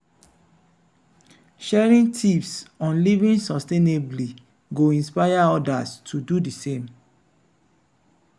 sharing tips on living sustainably go inspire others to do di same.